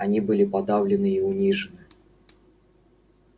они были подавлены и унижены